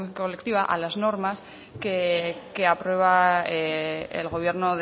colectiva a las normas que aprueba el gobierno